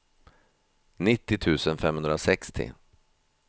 nittio tusen femhundrasextio